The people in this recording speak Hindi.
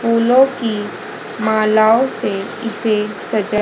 फूलों की मालाओं से इसे सजा--